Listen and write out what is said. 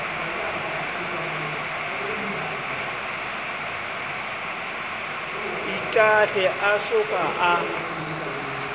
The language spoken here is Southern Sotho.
itahle a so ka a